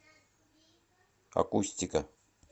акустика